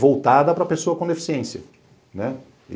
voltada para pessoa com deficiência, né?